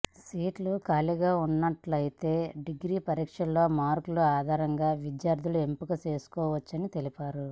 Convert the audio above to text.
సీట్లు ఖాళీగా ఉన్నట్లయితే డిగ్రీ పరీక్షల్లో మార్కుల ఆధారంగా విద్యార్థులను ఎంపిక చేసుకోవచ్చని తెలిపారు